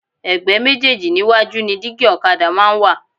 Ẹ̀gbẹ́ méjéèjì níwájú ni dígí ọ̀kadà máa ń wà